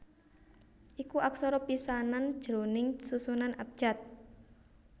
iku aksara pisanan jroning susunan abjad